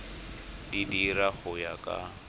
di dira go ya ka